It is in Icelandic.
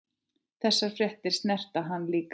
Þessar fréttir snerta hann líka.